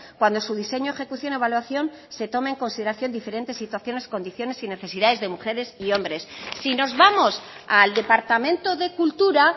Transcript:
cuando su diseño ejecución evaluación se toma en consideración diferentes situaciones condiciones y necesidades de mujeres y hombres si nos vamos al departamento de cultura